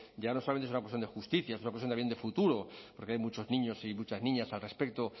ya no solamente es una cuestión de justicia es una cuestión también de futuro porque hay muchos niños y muchas niñas al respecto